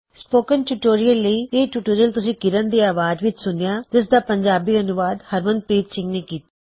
spoken tutorial ਲਈ ਇਹ tutorial ਤੁਸੀ ਕਿਰਣ ਦੀ ਆਵਾਜ਼ ਵਿੱਚ ਸੂਨਿਆ ਜਿਸਦਾ ਪੰਜਾਬੀ ਤਰਜੁਮਾ ਹਰਮਨਪ੍ਰੀਤ ਸਿੰਘ ਨੇਂ ਕੀੱਤਾ